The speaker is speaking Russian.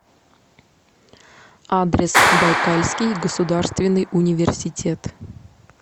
адрес байкальский государственный университет